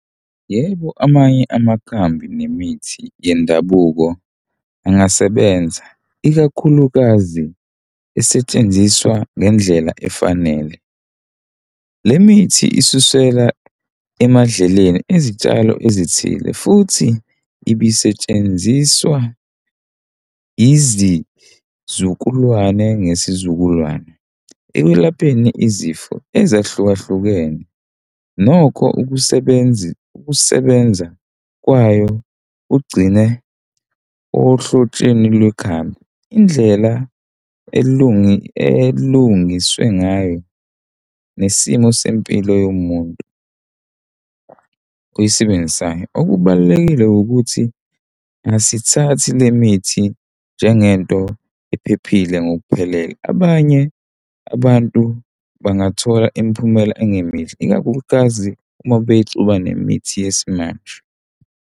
Yebo, amanye amakhambi nemithi yendabuko angasebenza, ikakhulukazi esetshenziswa ngendlela efanele. Le mithi isuselwa emadlelweni izitshalo ezithile futhi ibisetshenziswa izizukulwane ngesizukulwane ekwelapheni izifo ezahlukahlukene. Nokho ukusebenza ukusebenza kwayo kugcine ohlotsheni kwekhambi indlela elungiswe ngayo nesimo sempilo yomuntu oyisebenzisayo. Okubalulekile ukuthi asithathi le mithi njengento ephephile ngokuphelele. Abanye abantu bangathola imiphumela engemihle ikakhulukazi uma beyixuba nemithi yesimanje.